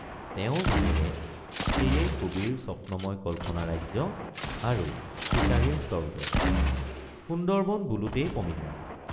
তেওঁৰ মনেৰে সেয়েই কবিৰ স্বপ্নময় কল্পনা ৰাজ্য আৰু চিকাৰীৰ স্বৰ্গ—সুন্দৰবন বোলোতেই পমি যায়।